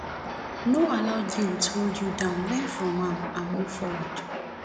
no allow guilt hold you down learn from am and move forward